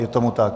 Je tomu tak.